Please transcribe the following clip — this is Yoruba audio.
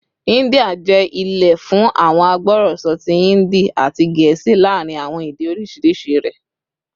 India jẹ ile fun awọn agbọrọsọ ti Hindi ati Gẹẹsi laarin awọn ede oriṣiriṣi rẹ